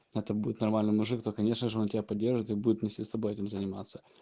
это будет нормально мужик то конечно же он тебя поддержит и будет вместе с тобой этим заниматься